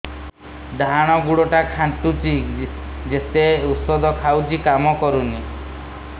ଡାହାଣ ଗୁଡ଼ ଟା ଖାନ୍ଚୁଚି ଯେତେ ଉଷ୍ଧ ଖାଉଛି କାମ କରୁନି